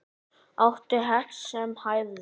Átti hest sem hæfði.